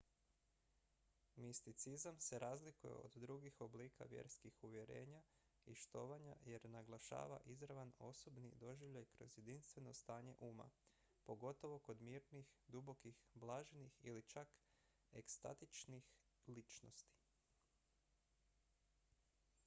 misticizam se razlikuje od drugih oblika vjerskih uvjerenja i štovanja jer naglašava izravan osobni doživljaj kroz jedinstveno stanje uma pogotovo kod mirnih dubokih blaženih ili čak ekstatičnih ličnosti